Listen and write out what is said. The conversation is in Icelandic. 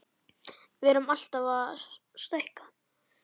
Við erum alltaf að stækka.